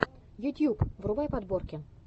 ютьюб врубай подборки